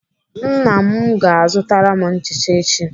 Nna m ga-azụtara m nchicha echi.